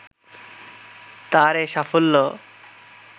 তার এ সাফল্য